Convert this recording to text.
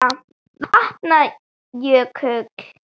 Vatna- jökull